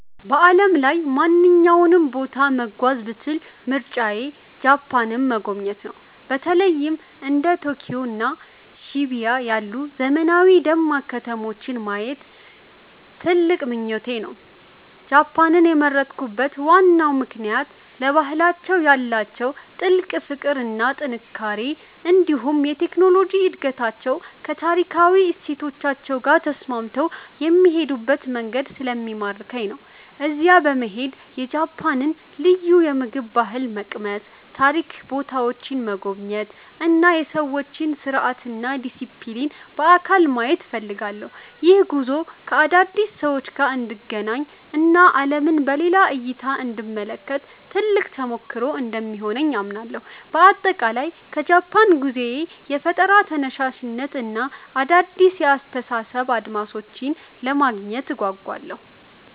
በዓለም ላይ ማንኛውንም ቦታ መጓዝ ብችል ምርጫዬ ጃፓንን መጎብኘት ነው። በተለይም እንደ ቶኪዮ እና ሺቡያ ያሉ ዘመናዊና ደማቅ ከተማዎችን ማየት ትልቅ ምኞቴ ነው። ጃፓንን የመረጥኩበት ዋናው ምክንያት ለባህላቸው ያላቸውን ጥልቅ ፍቅር እና ጥንቃቄ፣ እንዲሁም የቴክኖሎጂ እድገታቸው ከታሪካዊ እሴቶቻቸው ጋር ተስማምቶ የሚሄዱበት መንገድ ስለሚማርከኝ ነው። እዚያ በመሄድ የጃፓንን ልዩ የምግብ ባህል መቅመስ፣ የታሪክ ቦታዎችን መጎብኘት እና የሰዎችን ስርዓትና ዲሲፕሊን በአካል ማየት እፈልጋለሁ። ይህ ጉዞ ከአዳዲስ ሰዎች ጋር እንድገናኝ እና ዓለምን በሌላ እይታ እንድመለከት ትልቅ ተሞክሮ እንደሚሆነኝ አምናለሁ። በአጠቃላይ ከጃፓን ጉዞዬ የፈጠራ ተነሳሽነትን እና አዳዲስ የአስተሳሰብ አድማሶችን ለማግኘት እጓጓለሁ።